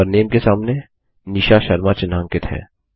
और मेंबर नामे के सामने निशा शर्मा चिह्नांकित है